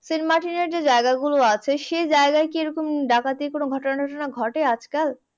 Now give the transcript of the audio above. সেন্টমার্টিনের যে জায়গাগুলো আছে সেই জায়গায় কি এরকম ডাকাতির কোন ঘটনা টতোনা ঘটে আজকাল?